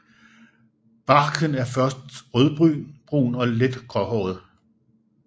Barken er først rødbrun og let gråhåret